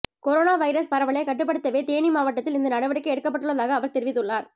corona virus பரவலை கட்டுப்படுத்தவே தேனி மாவட்டத்தில் இந்த நடவடிக்கை எடுக்கப்பட்டுள்ளதாக அவர் தெரிவித்துள்ளார்